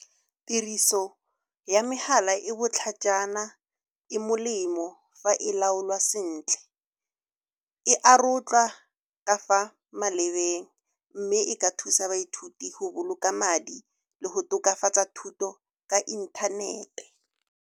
Tiriso ya megala e botlhajana, e molemo fa e laolwa sentle, e arotlwa ka fa malebeng, mme e ka thusa baithuti go boloka madi le go tokafatsa thuto ka inthanete.